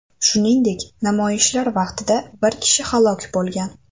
Shuningdek, namoyishlar vaqtida bir kishi halok bo‘lgan.